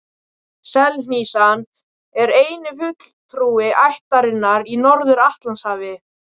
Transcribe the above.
Selhnísan er eini fulltrúi ættarinnar í Norður-Atlantshafi.